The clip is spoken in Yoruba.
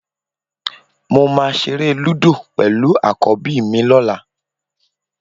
Mo máa ṣeré lúdò pẹ̀lú àkọ́bí mi lọ́la